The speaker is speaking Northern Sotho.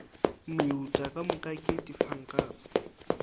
meuta ka moka ke difankase